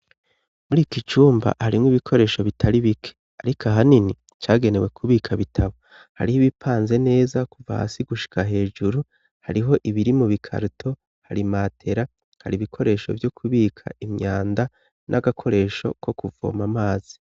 muri iki cumba harimwo ibikoresho bitari bike ariko ahanini cyagenewe kubika bitabo hariho ibipanze neza kuva hasi gushika hejuru hariho ibiri mu bikaruto hari matera hari ibikoresho vyo kubika imyanda n'agakoresho ko kuvoma amazi